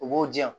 U b'o di yan